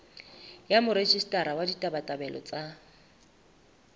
ya morejistara wa ditabatabelo tsa